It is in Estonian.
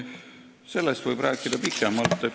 Sellest võib rääkida pikemalt.